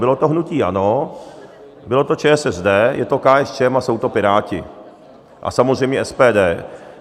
Bylo to hnutí ANO, byla to ČSSD, je to KSČM a jsou to Piráti a samozřejmě SPD.